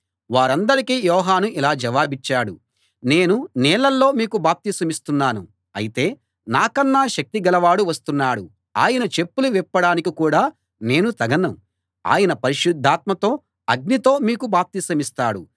వారందరికీ యోహాను ఇలా జవాబిచ్చాడు నేను నీళ్లలో మీకు బాప్తిసమిస్తున్నాను అయితే నాకన్నా శక్తి గలవాడు వస్తున్నాడు ఆయన చెప్పులు విప్పడానికి కూడా నేను తగను ఆయన పరిశుద్ధాత్మతో అగ్నితో మీకు బాప్తిసమిస్తాడు